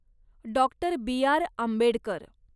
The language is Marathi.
doctor B R Ambedkar